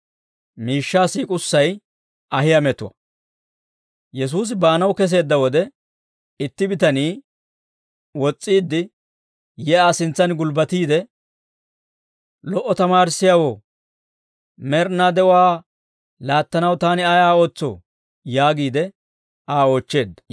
Yesuusi baanaw keseedda wode, itti bitanii wos's'iidde yi Aa sintsan gulbbatiide, «Lo"o tamaarissiyaawoo, med'inaa de'uwaa laattanaw taani ayaa ootsoo?» yaagiide Aa oochcheedda.